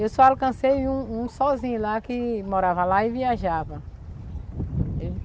Eu só alcancei um um sozinho lá que morava lá e viajava.